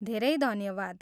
धेरै धन्यवाद!